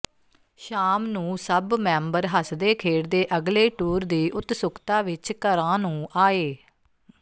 ਸ਼ਾਮ ਨੂੰ ਸੱਭ ਮੈਂਬਰ ਹਸਦੇ ਖੇਡਦੇ ਅਗਲੇ ਟੂਰ ਦੀ ਉਤਸੁਕਤਾ ਵਿੱਚ ਘਰਾਂ ਨੂੰ ਆਏ